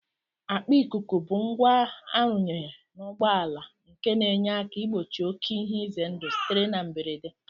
Akpa ikuku bụ ngwa arụnyere n'ụgbọala nke na-enye aka igbochi oké ihe ize ndụ sitere na mberede